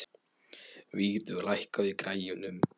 Vígdögg, lækkaðu í græjunum.